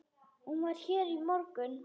Hún var hér í morgun.